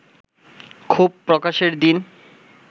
ক্ষোভ প্রকাশের দিন